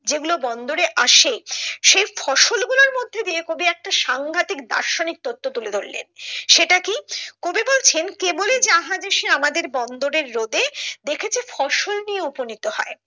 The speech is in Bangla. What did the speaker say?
যেগুলো বন্দরে আসে সেই ফসল গুলোর মধ্যে দিয়ে কবি একটা সাংঘাতিক দার্শনিক তথ্য তুলে ধরলেন সেটা কি, কবি বলছেন কেবলি জাহাজ এসে আমাদের বন্দরের রোদে দেখেছে ফসল নিয়ে উপনীত হয় যা